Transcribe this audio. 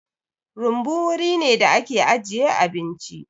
Rumbu wuri ne da ake ajiye abinci.